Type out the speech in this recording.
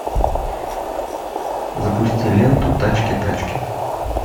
запусти ленту тачки тачки